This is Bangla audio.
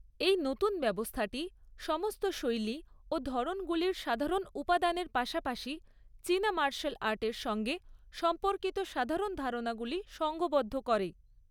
এই নতুন ব্যবস্থাটি সমস্ত শৈলী ও ধরণগুলির সাধারণ উপাদানের পাশাপাশি চীনা মার্শাল আর্টের সঙ্গে সম্পর্কিত সাধারণ ধারণাগুলি সঙ্ঘবদ্ধ করে।